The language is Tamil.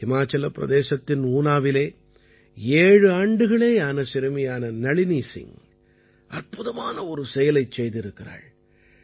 ஹிமாச்சலப் பிரதேசத்தின் ஊனாவிலே ஏழு ஆண்டுகளேயான சிறுமியான நளினி சிங் அற்புதமான ஒரு செயலைச் செய்திருக்கிறாள்